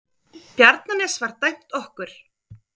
Bjarnanes var dæmt okkur!